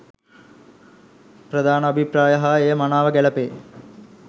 ප්‍රධාන අභිප්‍රාය හා එය මනාව ගැළපේ.